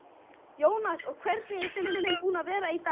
Jóhannes: Og hvernig er stemmningin búin að vera hérna á landsmóti?